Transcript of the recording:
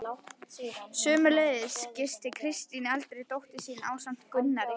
Sömuleiðis gisti Kristín eldri dóttir mín ásamt Gunnari